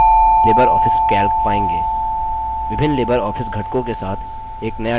विभिन्न LibreOffice घटकों के साथ एक नया dialog box खुलता है